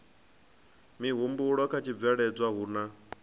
mihumbulo kha tshibveledzwa hu na